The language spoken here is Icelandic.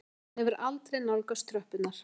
Hann hefur aldrei nálgast tröppurnar.